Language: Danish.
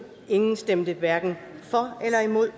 stemte elleve hverken for eller imod